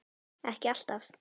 Ekki alltaf.